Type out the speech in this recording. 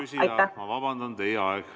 Austatud küsija, ma vabandan, teie aeg!